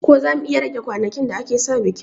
Ko zamu iya rage ranakun da aka sa bikin